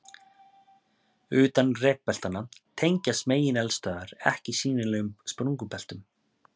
Utan rekbeltanna tengjast megineldstöðvar ekki sýnilegum sprungubeltum.